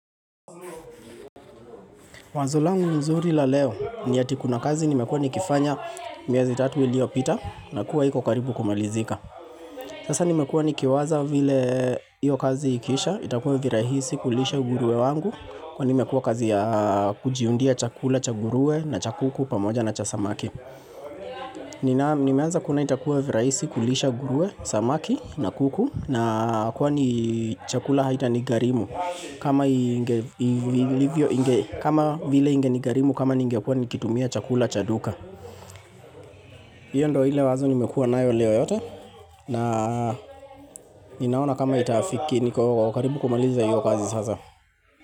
Wazo langu mzuri la leo ni ati kuna kazi nimekuwa nikifanya miezi tatu iliyopita na kuwa iko karibu kumalizika. Sasa nimekuwa nikiwaza vile iyo kazi ikiisha itakuwa virahisi kulisha ngurue wangu kwani nimekuwa kazi ya kujiundia chakula cha ngurue na cha kuku pamoja na cha samaki. Nimeanza kuona itakuwa virahisi kulisha ngurue, samaki na kuku na kwani chakula haita nigharimu kama vile ingeni gharimu kama ningekuwa nikitumia chakula cha duka hiyo ndo ile wazo nimekuwa nayo leo yote na Ninaona kama itafiki niko karibu kumaliza iyo kazi sasa.